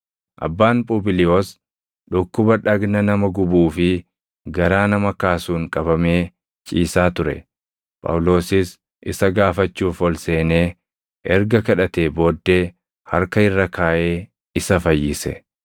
Abbaan Phubiliyoos dhukkuba dhagna nama gubuu fi garaa nama kaasuun qabamee ciisaa ture; Phaawulosis isa gaafachuuf ol seenee erga kadhatee booddee harka irra kaaʼee isa fayyise.